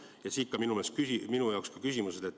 Ja siit ka minu küsimused.